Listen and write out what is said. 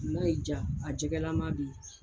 N'a y'i jaa a jɛgɛlama bɛ ye.